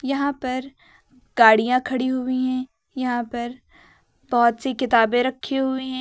यहां पर गाड़ियां खड़ी हुई है यहां पर बहुत सी किताबें रखी हुई है।